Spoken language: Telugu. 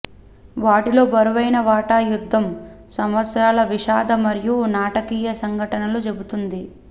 వాటిలో బరువైన వాటా యుద్ధం సంవత్సరాల విషాద మరియు నాటకీయ సంఘటనలు చెబుతుంది